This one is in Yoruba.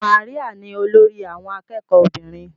Maria ni olórí àwọn akẹ́kọ̀ọ́ obìnrin.